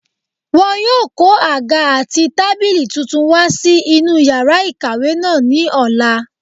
Wọn yóò kó àga àti tábìlì tuntun wá sí inú yàrá ìkàwé náà ní ọ̀la